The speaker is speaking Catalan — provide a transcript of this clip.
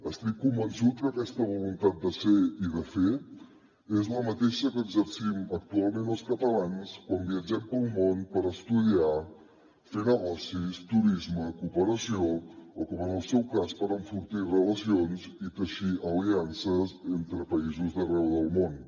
estic convençut que aquesta voluntat de ser i de fer és la mateixa que exercim actualment els catalans quan viatgem pel món per estudiar fer negocis turisme cooperació o com en el seu cas per enfortir relacions i teixir aliances entre països d’arreu del món